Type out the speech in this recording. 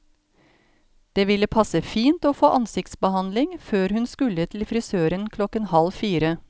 Det ville passe fint å få ansiktsbehandling før hun skulle til frisøren klokken halv fire.